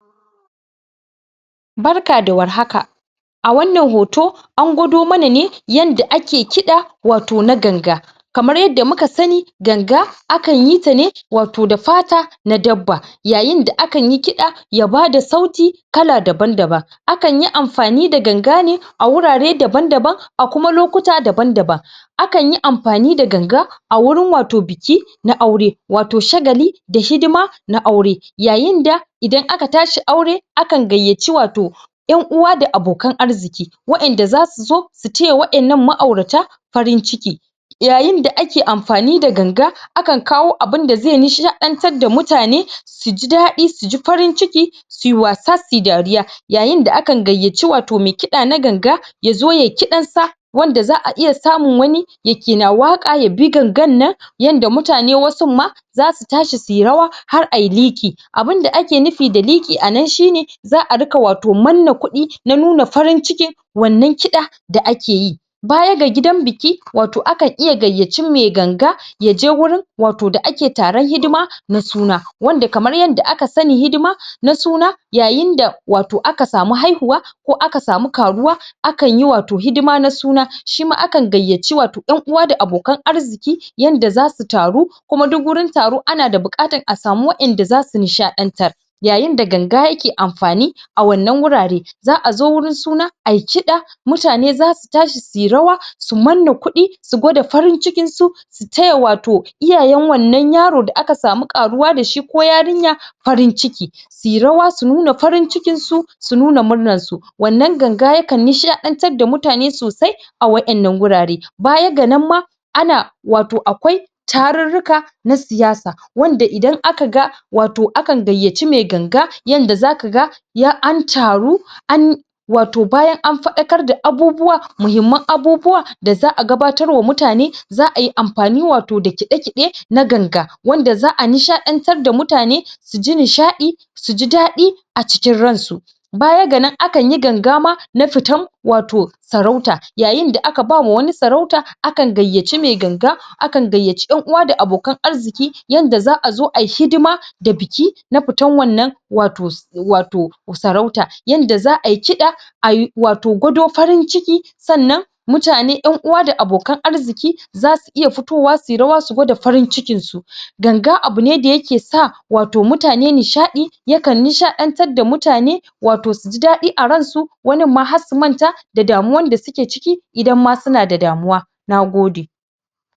Barka da warhaka a wannan hoto an gwado mana ne ne yadda ake kida wato na ganga, kamar yadda muka sani ganag akan yi ta ne wato da fata na dabba Yayin da akanyi kida ya bada sauti kala daban daban akanyi amfani da ganga ne a wurare daban-daban, a kuma lokuta daban -daban, akanyi amfani da ganga a wurin wato biki na aure, wato shagali da hidima na aure yayin da idan aka tashi aure akan gaiyaci wato yanuwa da abokan arziki. Wadanda zasu zo su taya wannan ma'aurata farin ciki yayin da ake amfani da ganga, akan kawo kawo abinda zai nishatar da mutane su ji dadi suji farin ciki uyi wasa suyi dariya, yayin da akan gaiyaci wato mai kida na ganga yazo yayi kidansa wanda za'a iya samun wani yake na waka ya bi gangan nan yanda mutane wasun ma zasu tashi suyi rawa har ayi liki, abinda ake nufi da liki anan shine za'a rika wato manna kudi na nuna farin cikin wannan kida da ake yi, baya ga gidan biki wato akan iya gayyaci mai ganga yaje wurin wato da ake taron hidima na suna, wanda kamar yadda aka sani hidima na suna yayin da wato aka sami haihuwa ko aka sami karuwa akanyi wato hidima na suna shima akan gaiyaci yanuwa da abikan arziki yanda zasu taru kuma duk gurin taro ana da bukatar a sami wadanda zasu nishantar yayin da ganga yake amfani a wannan wurare. Za'a zo wurin suna ayi kida mutane zasu tashi suyi rawa su manna kudi su gwada farin cikinsu su su taya wato iyayen wannan yaro da aka sami karuwa dashi ko yarinya farin ciki suyi rawa su nuna farin cikinsu su nun murnarsu wannan ganga ya kan nishadantar da mutane sosai a wannan gurare Baya ga nan ma wato akwai taruka na siyasa wanda idan aka-ga wato akan gaiyyaci mai ganga yanda zaka ga an taru, an- wato bayan an fadakar da abubuwa muhimman abubuwa da za'a gabatarwa da mutane za'ayi amfani da wato kide-kide na ganga wanda za'a nishadantar da mutane su ji nishadi ji dadi a cikin ransu baya ga nan akan yi ganga ma na fitar wato sarauta yayin da aka ba ma wani sarauta akan gayyaci yanuwa da abokan arziki yanda za'a zo ayi hidima da biki na fitar wannan wato-wato sarauta, yanda za'ayi kida ayi wato gwado farin ciki sannan mutane yanuwa da abokan arziki zasu iya fitowa su yi rawa su gwada farin cikinsu. Ganga abu ne da yake sa wato mutane nishadi ya kan nishadantar da mutane wato su ji dadi a ransu wanin ma har su manta da damuwar da suke ciki idan ma suna da damuwa.